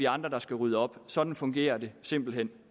andre der skal rydde op sådan fungerer det simpelt hen